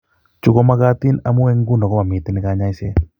Chu ko makatiin amu eng' ng'uno ko mamiten kaany'ayseet.